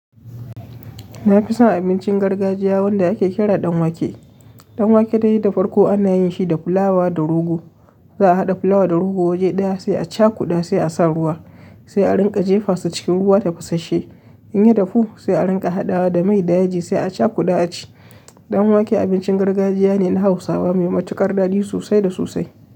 Na fi son abincin gargajiya wanda ake kira dan wake. Ɗan wake dai da farko ana yin shi da fulawa da rogo. Za'a haɗa fulawa da rogo waje ɗaya sai a cakuda sai a sa ruwa, sai a rinƙa jefa su cikin ruwa tafasashe. In ya dahu sai a rinƙa hadawa da mai da yaji sai a cakuɗa a ci. Ɗan wake abincin gargajiya ne na hausawa mai matukar daɗi sosai da sosai.